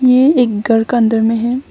ये एक घर का अंदर में है।